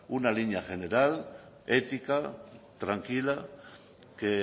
una línea general ética tranquila que